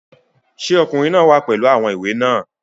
Sé Ọkùnrin náà wá pẹ̀lú àwọn ìwé náà?